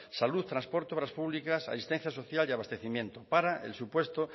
salud transporte obras públicas asistencia social y abastecimiento para el supuesto